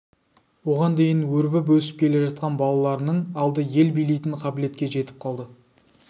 оған дейін өрбіп өсіп келе жатқан балаларының алды ел билейтін қабілетке жетіп қалады